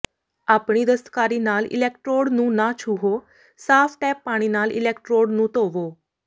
ਆਪਣੀ ਦਸਤਕਾਰੀ ਨਾਲ ਇਲੈਕਟ੍ਰੋਡ ਨੂੰ ਨਾ ਛੂਹੋ ਸਾਫ ਟੈਪ ਪਾਣੀ ਨਾਲ ਇਲੈਕਟ੍ਰੋਡ ਨੂੰ ਧੋਵੋ